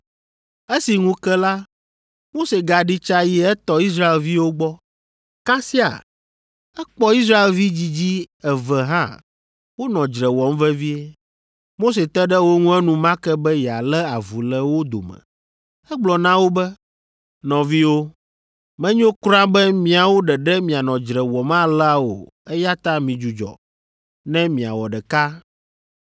Esi ŋu ke la, Mose gaɖi tsa yi etɔ Israelviwo gbɔ. Kasiaa, ekpɔ Israelvi dzidzi eve hã wonɔ dzre wɔm vevie. Mose te ɖe wo ŋu enumake be yealé avu le wo dome. Egblɔ na wo be, ‘Nɔviwo, menyo kura be miawo ɖeɖe mianɔ dzre wɔm alea o eya ta midzudzɔ, ne miawɔ ɖeka.’